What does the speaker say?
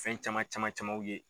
Fɛn caman caman camanw ye.